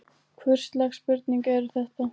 Hvurslags spurningar eru þetta?